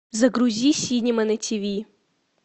загрузи синема на тв